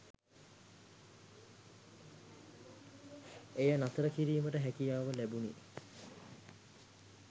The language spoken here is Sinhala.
එය නතර කිරීමට හැකියාව ලැබුණි